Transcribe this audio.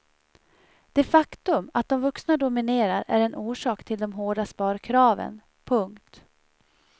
Det faktum att de vuxna dominerar är en orsak till de hårda sparkraven. punkt